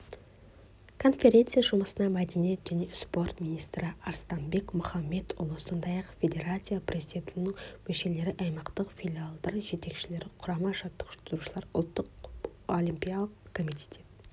конференция жұмысына мәдениет және спорт министрі арыстанбек мұхамедиұлы сондай-ақ федерация президиумының мүшелері аймақтық филиалдар жетекшілері құрама жаттықтырушылары ұлттық олимпиялық комитет